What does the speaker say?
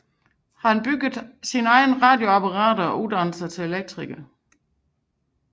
Han byggede egne radioapparater og uddannede sig til elektriker